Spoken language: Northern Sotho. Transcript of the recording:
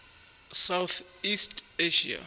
south east asia